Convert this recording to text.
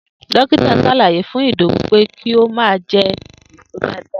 Dókítà s̩álàyé fún Ìdòwú pé kí ó má a je̩ èso dáadáa